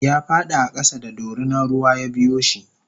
yafadi a kasa da dorinan ruwa yabiyoshi